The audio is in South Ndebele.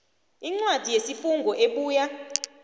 incwadi yesifungo ebuya